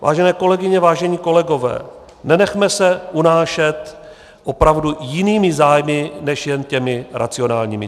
Vážené kolegyně, vážení kolegové, nenechme se unášet opravdu jinými zájmy než jen těmi racionálními.